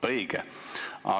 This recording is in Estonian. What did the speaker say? Õige!